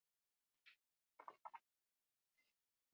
Leyfa meira en þrjár skiptingar Hvern vildir þú sjá á sviði?